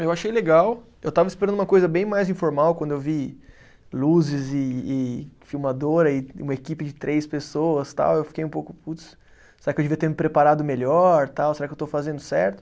Eu achei legal, eu estava esperando uma coisa bem mais informal, quando eu vi luzes e e filmadora e uma equipe de três pessoas tal, eu fiquei um pouco, putz, será que eu devia ter me preparado melhor tal, será que eu estou fazendo certo?